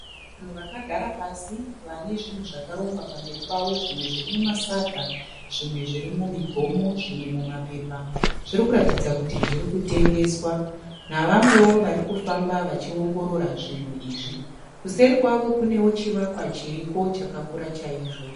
Vanhu vakagara pasi vane zvinhu zvakarongwa pamberi pavo, zvimwe zviri mumasaga, zvimwe zviri mumigomo, zvimwe mumapepa zviri kuratidza kuti zviri kutengeswa navamwewo vari kufamba vachiongorora zvinhu izvi. Kuseri kwavo kunewo chivakwa chiriko chakakura chaizvo.